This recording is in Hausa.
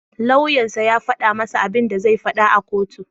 Lauyan sa ya faɗa masa abinda zai faɗa a kotu.